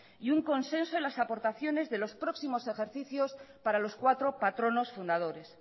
y un consenso en las aportaciones de los próximos ejercicios para los cuatro patronos fundadores